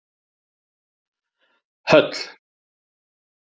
Höll